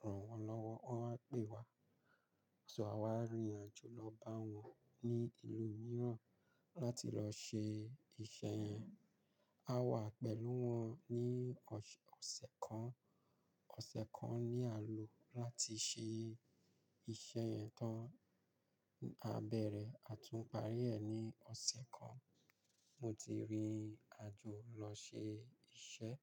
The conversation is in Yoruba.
ràn wọ́n lọ́wọ́. Wọ́n á pè wa. Ṣọlá wá rìnrìn àjò lọ bá wọn ní ìlú mìíràn láti lọ ṣe iṣẹ́ yẹn. A wà pẹ̀lú wọn ní ọ̀sẹ̀ kan. Ọ̀sẹ̀ kan ni a lò láti ṣe iṣẹ́ yẹn tán. A bẹ̀rẹ̀, a tún parí ẹ̀ ní ọ̀sẹ̀ kan. Mo ti rìnrìn àjò lọ ṣe iṣẹ́